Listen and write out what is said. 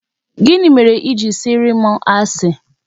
Gịnị mere I jiri sịara m asi?